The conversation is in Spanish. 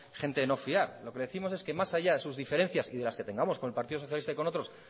gente de no fiar lo que le décimos es que más allá de sus diferencias y de las que tengamos con el partido socialista y con otros